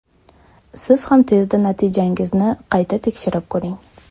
Siz ham tezda natijangizni qayta tekshirib ko‘ring.